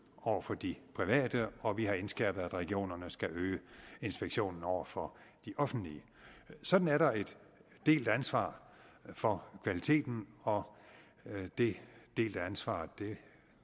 over for de private og vi har indskærpet at regionerne skal øge inspektionen over for de offentlige sådan er der et delt ansvar for kvaliteten og det delte ansvar